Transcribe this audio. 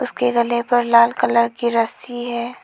के गले पर लाल कलर की रस्सी है।